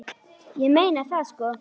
Ég meina það sko.